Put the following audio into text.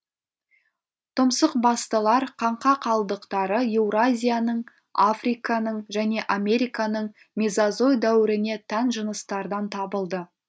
тұмсықбастылар қаңқа қалдықтары еуразияның африканың және американың мезозой дәуіріне тән жыныстардан табылды